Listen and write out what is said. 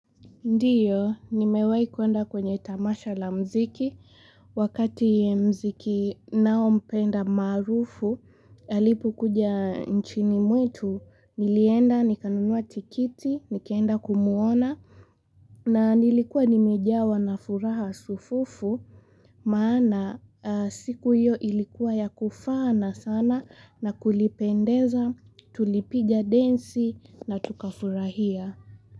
Ndiyo, nimewahi kuenda kwenye tamasha la mziki, wakati mziki nao mpenda maarufu, alipo kuja nchini mwetu, nilienda, nikanunua tikiti, nikaenda kumwona, na nilikuwa nimejawa na furaha sufufu, maana siku hiyo ilikuwa ya kufana sana na kulipendeza, tulipiga densi na tukafurahia.